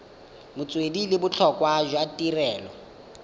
metswedi le botlhokwa jwa tirelo